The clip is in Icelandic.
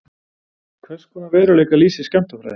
Hverskonar veruleika lýsir skammtafræði?